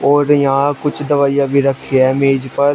और यहां कुछ दवाइयां भी रखी है मेज पर--